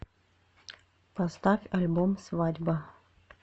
поставь альбом свадьба